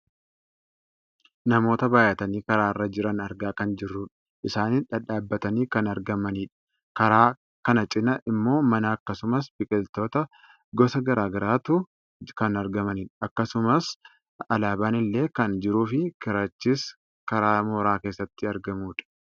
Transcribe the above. namoota baayyatanii karaa irra jiran argaa kan jirrudha isaanis dhadhaabbatanii kan argamanidha. karaa kana cinaa ammoo mana akkasumas biqiltoota gosa gara garaatu kan argamanidha. akkasumas alaabaan illee kan jirufi karichis karaa mooraa keessatti argamudha.